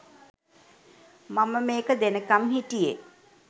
මම මේක දෙනකම් හිටියේ